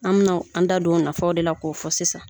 An bɛna an da don o nafaw de la k'o fɔ sisan